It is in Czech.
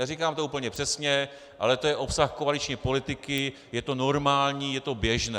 Neříkám to úplně přesně, ale to je obsah koaliční politiky, je to normální, je to běžné.